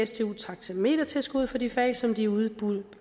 sdu taxametertilskud for de fag som de udbød